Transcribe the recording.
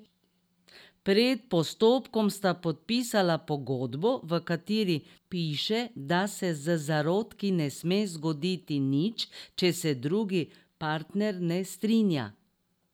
Pred postopkom sta podpisala pogodbo, v kateri piše, da se z zarodki ne sme zgoditi nič, če se drugi partner ne strinja.